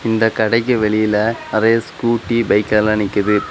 இந்த கடைக்கு வெளியில நரைய ஸ்கூட்டீ பைக் எல்லா நிக்குது.